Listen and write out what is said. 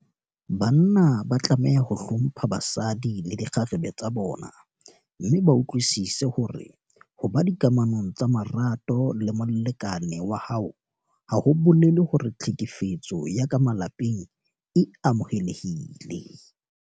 Banna ba tlameha ho hlompha basadi le dikgarebe tsa bona mme ba utlwisise hore ho ba dikamanong tsa marato le molekane wa hao ha ho bolele hore tlhekefetso ya ka malapeng e amohelehile.